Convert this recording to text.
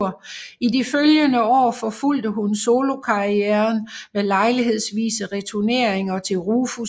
I de følgende år forfulgte hun solokarrieren med lejlighedsvise returneringer til Rufus